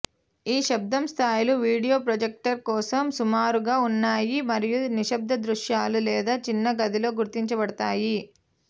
ఈ శబ్దం స్థాయిలు వీడియో ప్రొజెక్టర్ కోసం సుమారుగా ఉన్నాయి మరియు నిశ్శబ్ద దృశ్యాలు లేదా చిన్న గదిలో గుర్తించబడతాయి